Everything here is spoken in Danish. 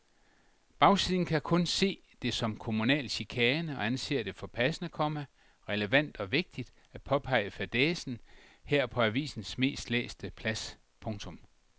Bagsiden kan kun se det som kommunal chikane og anser det for passende, komma relevant og vigtigt at påpege fadæsen her på avisens mest læste plads. punktum